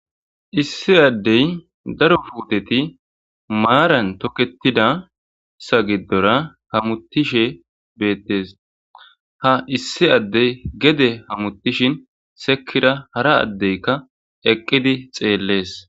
Issi Adey daro putet maran toketidaysa gidora hamutishe betes. Ha issi adey gede hamutishn sekira hara adeyka ha eqid xeles.